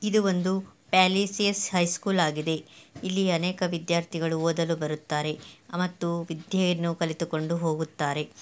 ಇದು ಒಂದು ಪ್ಯಾಲೇಸ್ಟಿಯಾಸ್ ಹೈ ಸ್ಕೂಲ್ ಆಗಿದೆ ಇಲ್ಲಿ ಅನೇಕ ವಿದ್ಯಾರ್ಥಿಗಳು ಓದಲು ಬರುತ್ತಾರೆ ಮತ್ತು ವಿದ್ಯೆ ಅನ್ನು ಕಲಿತುಕೊಂಡು ಹೋಗುತ್ತಾರೆ.